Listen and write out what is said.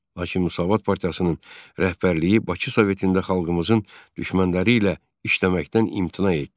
Lakin Müsavat partiyasının rəhbərliyi Bakı Sovetində xalqımızın düşmənləri ilə işləməkdən imtina etdi.